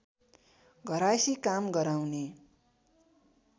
घरायसी काम गराउने